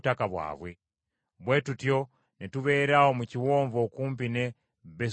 Bwe tutyo ne tubeera awo mu kiwonvu okumpi ne Besu Peoli.